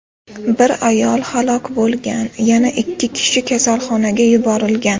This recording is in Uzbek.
Bir ayol halok bo‘lgan, yana ikki kishi kasalxonaga yuborilgan.